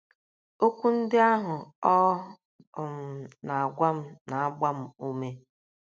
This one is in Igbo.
Okwu ndị ahụ ọ um na - agwa m na - agba m ume. ”